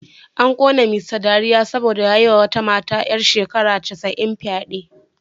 An kona Mr dariya saboda ya yi wa wata mata ‘yar shekara casa’in fyade